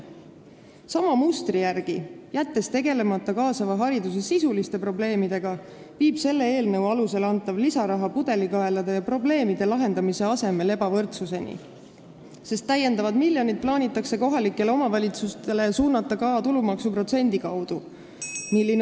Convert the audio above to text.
Sama mustri järgi, kuna jäetakse tegelemata kaasava hariduse sisuliste probleemidega, tekitab selle eelnõu alusel antav lisaraha pudelikaelade kaotamise ja probleemide lahendamise asemel ebavõrdsust, sest täiendavad miljonid plaanitakse kohalikele omavalitsustele eraldada ka tulumaksuprotsendi kaudu.